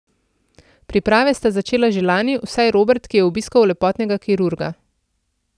Priprave sta začela že lani, vsaj Robert, ki je obiskal lepotnega kirurga.